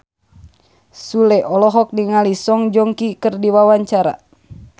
Sule olohok ningali Song Joong Ki keur diwawancara